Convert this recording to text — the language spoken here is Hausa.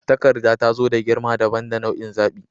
Takarda ta zo da girma dabam da nau'in zaɓi.